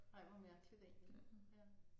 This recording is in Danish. Ej hvor mærkeligt egentlig ja